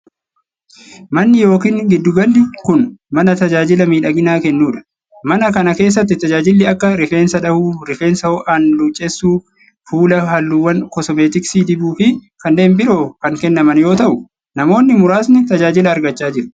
Manni yookin giddu galli kun, mana tajaajila miidhaginaa kennuu dha. Mana kana keessatti tajaajilli akka:rifeensa dhahuu, rifeensa ho'aan luuccessuu, fuula halluuwwan koosmeetiksii dibuu fi kanneen biroo kan kennaman yoo ta'u, namoonni muraasni tajaajila argachaa jiru.